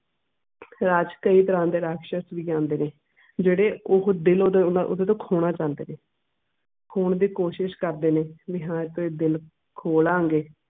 ਰਾਹ ਚ ਕਈ ਤਰਾਹ ਦੇ ਰਾਕਸ਼ਸ ਵੀ ਹੁੰਦੇ ਨੇ ਜਿਹੜੇ ਉਹ ਦਿਲ ਓਹੋ ਓਹਦੇ ਕੋਲੋਂ ਖੋਣਾ ਚਾਹੁੰਦੇ ਨੇ ਖੋਣ ਦੀ ਕੋਸ਼ਿਸ਼ ਕਰਦੇ ਨੇ ਵੀ ਹਾਂ ਵੀ ਦਿਲ ਖੋ ਲਾਂ ਗੇ